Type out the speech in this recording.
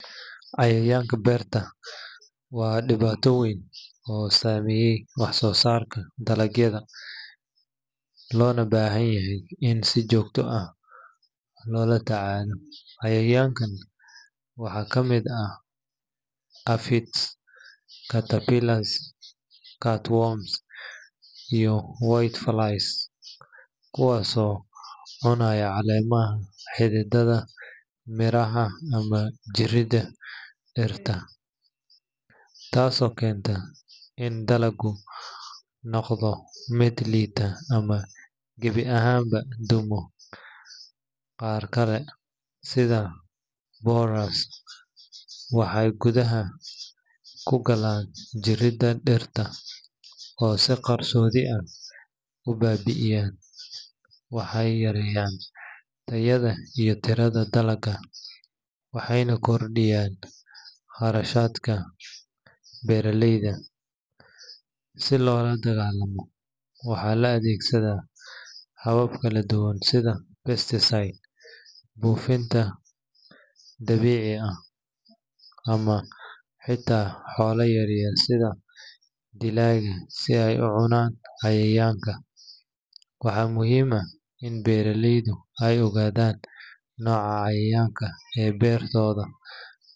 Cayayaanka beerta waa dhibaato weyn oo saameeya wax-soo-saarka dalagyada, loona baahan yahay in si joogto ah loola tacaalo. Cayayaankan waxaa ka mid ah aphids, caterpillars, cutworms, iyo whiteflies kuwaasoo cunaya caleemaha, xididdada, miraha ama jirridda dhirta, taasoo keenta in dalaggu noqdo mid liita ama gebi ahaanba dhumo. Qaar kale sida borers waxay gudaha u galaan jirridda dhirta oo si qarsoodi ah u baabi’iya. Waxay yareeyaan tayada iyo tirada dalagga, waxayna kordhiyaan kharashka beeraleyda. Si loola dagaalamo, waxaa la adeegsadaa habab kala duwan sida pesticides, buufinayaal dabiici ah, ama xitaa xoolo yar yar sida digaag si ay u cunaan cayayaanka. Waxaa muhiim ah in beeraleydu ay ogaadaan nooca cayayaan ee beertooda.